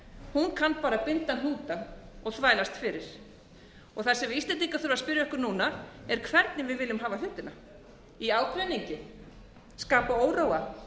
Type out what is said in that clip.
hún kanna bara að binda hnúta og þvælast fyrir það sem við íslendingar þurfum að spyrja okkur núna er hvernig við viljum hafa hlutina í ágreiningi skapa óróa